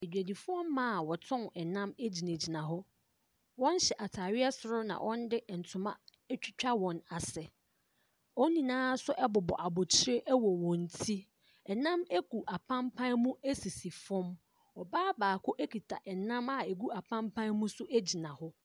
Adwadifoɔ mmaa a wɔtɔn nam gyinagyina hɔ, wɔhyɛ ataadeɛ soro na wɔde ntoma atwitwa wɔn ase. Wɔn nyinaa nso bobɔ abɔtire wɔ wɔn ti. Ɛnam gu apampa mu sisi fam. Ɔbaa baako kita nam a ɛgu apampa mu gyna hɔ.